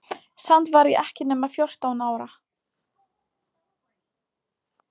Samt var ég ekki nema fjórtán ára.